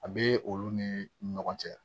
A bee olu nii ɲɔgɔn cɛ